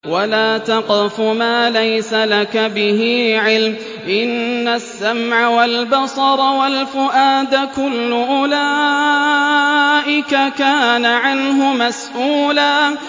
وَلَا تَقْفُ مَا لَيْسَ لَكَ بِهِ عِلْمٌ ۚ إِنَّ السَّمْعَ وَالْبَصَرَ وَالْفُؤَادَ كُلُّ أُولَٰئِكَ كَانَ عَنْهُ مَسْئُولًا